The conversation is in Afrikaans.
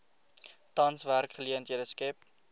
tans werksgeleenthede skep